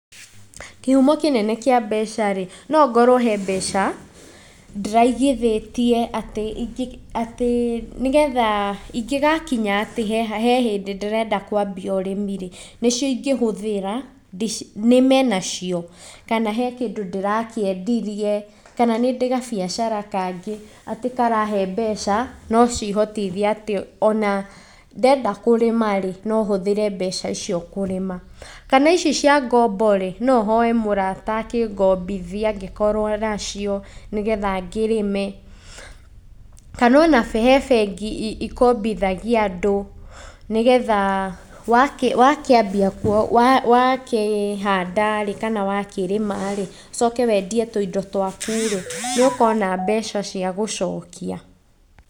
Kĩhumo kĩnene kĩa mbecarĩ, nongorwo hembeca , ndĩraigithĩtie atĩ, atĩ ingĩgakinya atĩ hehĩndĩ ndĩrenda kwanjia ũrĩmirĩ, nĩcio ingĩhũthĩra , nĩme nacio. Kana he kĩndũ ndĩrakĩendirie kana nĩndĩ gabiacara kangĩ atĩ karehe mbeca nocihotithie atĩ ona ndenda kũrĩmarĩ, nohũthĩre mbeca icio kũrĩma. Kana icio cia ngomborĩ, nohoe mũrata akĩngombithie angĩkorwo nacio nĩgetha ngĩrĩnme. Kana ona he bengi cikombithagia andũ nĩgetha wakĩambia wakĩhandarĩ kana wakĩrĩma ũcoke wendie tũindo twakurĩ, nĩũkona mbeca cia gũcokia.